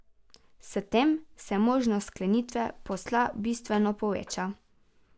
S tem se možnost sklenitve posla bistveno poveča.